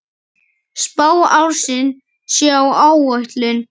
Spá ársins sé á áætlun.